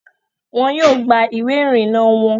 Wọn yóò gba ìwé ìrìnnà wọon